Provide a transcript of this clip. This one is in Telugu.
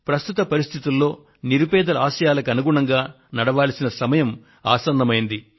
ప్రస్తుత పరిస్థితుల్లో నిరుపేదల ఆశయాలకు అనుగుణంగా నడవాల్సిన సమయం ఆసన్నమైంది